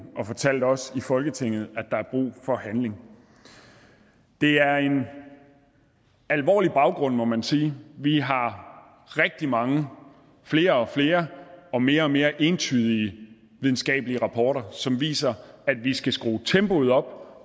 og fortalt os i folketinget at der er brug for handling det er en alvorlig baggrund må man sige vi har rigtig mange og flere og flere og mere og mere entydige videnskabelige rapporter som viser at vi skal skrue tempoet op og